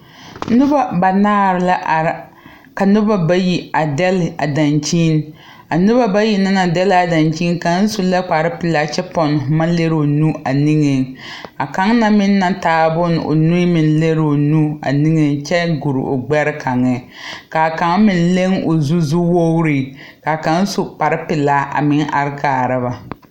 Nobo banaare la are. Ka nobo bayi a dɛle a dankyen. A nobo bayi ne naŋ dɛle a dankyen kang su la kpar pulaa kyɛ ponn boma leroŋ o nu a niŋe. A kang na meŋ na taa bon o niŋe meŋ lereŋ o nu a niŋeŋ kyɛ gur o gbɛɛ kangeŋ. Ka kang meŋ leng o zu zuwogre. Ka kang su kpar pulaa a meng are kaare ba.